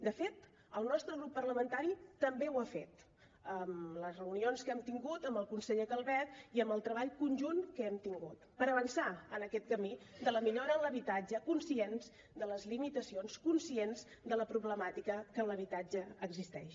de fet el nostre grup parlamentari també ho ha fet amb les reunions que hem tingut amb el conseller calvet i amb el treball conjunt que hem tingut per avançar en aquest camí de la millora en l’habitatge conscients de les limitacions conscients de la problemàtica que en l’habitatge existeix